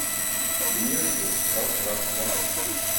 между пространством